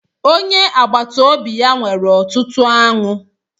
Onye agbata obi ya nwere ọtụtụ aṅụ.